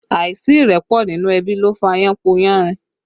Àìsí ìrẹ́pọ̀ nínú ẹbí ló fà yánpọnyánrin